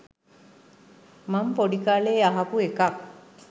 මං පොඩි කාලේ අහපු එකක්